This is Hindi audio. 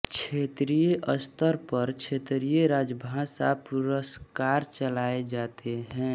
क्षेत्रीय स्तर पर क्षेत्रीय राजभाषा पुरस्कार चलाए जाते हैं